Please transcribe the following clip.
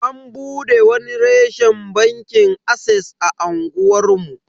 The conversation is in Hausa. An bude wani reshen bankin ases a unguwar mu.